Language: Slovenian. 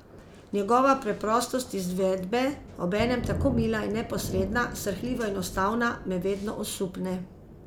Njegova preprostost izvedbe, obenem tako mila in neposredna, srhljivo enostavna, me vedno osupne.